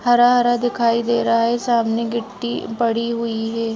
हरा-हरा दिखाई दे रहा है सामने गिट्टी पड़ी हुई है।